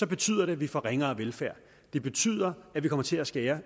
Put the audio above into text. betyder det at vi får ringere velfærd det betyder at vi kommer til at skære